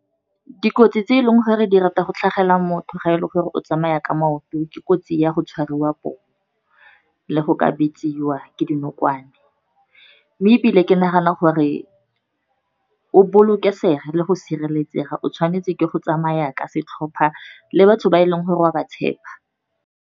Dikotsi tse e leng gore di rata go tlhagelela motho ga eleng gore o tsamaya ka maoto, ke kotsi ya go tshwariwa poo, le go ka bitsiwa ke dinokwane, mme ebile ke nagana gore o bolokesege, le go sireletsega o tshwanetse ke go tsamaya ka setlhopha, le batho ba e leng gore wa ba tshepa.